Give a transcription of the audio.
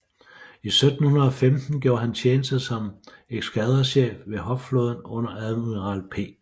I 1715 gjorde han tjeneste som eskadrechef ved hovedflåden under admiral P